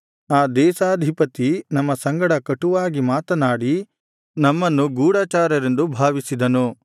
ಆ ದೇಶಾಧಿಪತಿ ನಮ್ಮ ಸಂಗಡ ಕಟುವಾಗಿ ಮಾತನಾಡಿ ನಮ್ಮನ್ನು ಗೂಢಚಾರರೆಂದು ಭಾವಿಸಿದನು